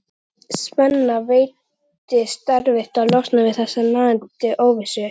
Svenna veitist erfitt að losna við þessa nagandi óvissu.